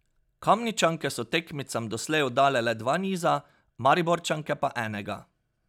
Kamničanke so tekmicam doslej oddale le dva niza, Mariborčanke pa enega.